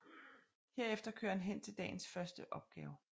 Herefter kører han hen til dagens første opgave